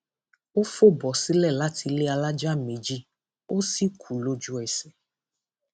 ó fò bọ sílẹ láti ilé alájà méjì ó sì kú lójúẹsẹ